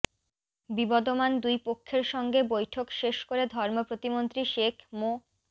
বিবদমান দুইপক্ষের সঙ্গে বৈঠক শেষ করে ধর্ম প্রতিমন্ত্রী শেখ মো